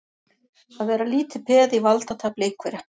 Að vera lítið peð í valdatafli einhverra